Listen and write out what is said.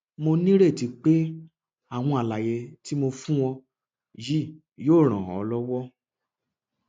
mo nírètí pé àwọn àlàyé tí mo fún ọ yìí yóò ràn ọ lọwọ